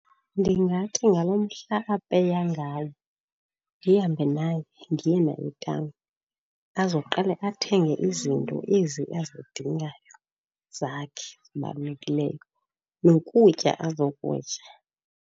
Ndingathi ngalo mhla apeya ngawo ndihambe naye ndiye naye etawuni, azoqale athenge izinto ezi azidingayo zakhe zibalulekileyo nokutya azokutya.